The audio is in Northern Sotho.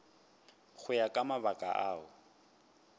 go ya ka mabaka ao